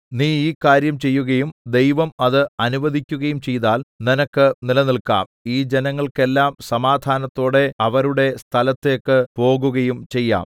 നീ ഈ കാര്യം ചെയ്യുകയും ദൈവം അത് അനുവദിക്കുകയും ചെയ്താൽ നിനക്ക് നിലനില്ക്കാം ഈ ജനങ്ങൾക്കെല്ലാം സമാധാനത്തോടെ അവരുടെ സ്ഥലത്തേക്ക് പോകുകയും ചെയ്യാം